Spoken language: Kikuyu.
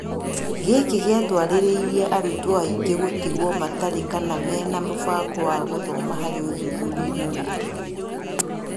Gĩkĩ gĩatũarĩrĩire arutwo aingĩ gũtigwo matarĩ kana mena mũbango wa gũthoma harĩ ũthuthuriainĩ witũ